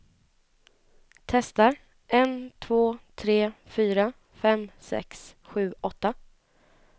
Testar en två tre fyra fem sex sju åtta.